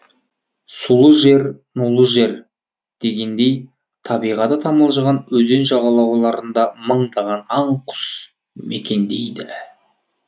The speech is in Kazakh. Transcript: сулы жер нулы жер дегендей табиғаты тамылжыған өзен жағалауларында мыңдаған аң құс мекендейді